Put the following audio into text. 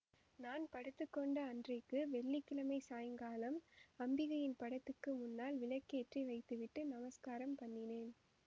நான் படுத்துக்கொண்ட அன்றைக்கு வெள்ளி கிழமை சாயங்காலம் அம்பிகையின் படத்துக்கு முன்னால் விளக்கேற்றி வைத்துவிட்டு நமஸ்காரம் பண்ணினேன்